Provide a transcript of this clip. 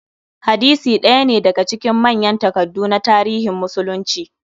Hadisi ɗaya ne daga cikin manyan takaddu na tarihin musulunci.